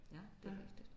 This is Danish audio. Ja det er rigtigt